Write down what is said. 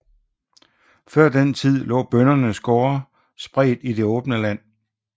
Før den tid lå bøndernes gårde spredt i det åbne land